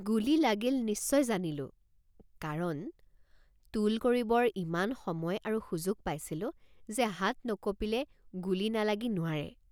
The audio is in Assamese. গুলী লাগিল নিশ্চয় জানিলোঁকাৰণ টোল কৰিবৰ ইমান সময় আৰু সুযোগ পাইছিলো যে হাত নকপিলে গুলী নালাগি নোৱাৰে।